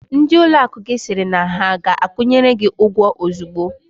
Ndị ụlọakụ gị sịrị na ha ga-akwụnyere gị ụgwọ ozugbo?